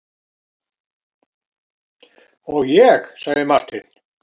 Og ég, sagði Marteinn.